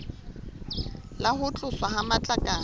le ho tloswa ha matlakala